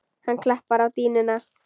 Hann klappar á dýnuna.